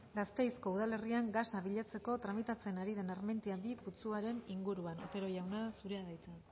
gasteizko udalerrian gasa bilatzeko tramitatzen ari den armentiaminus bi putzuaren inguruan otero jauna zurea da hitza